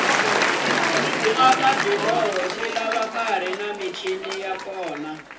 ku aka mabiloho swilava kuri ni michini ya kona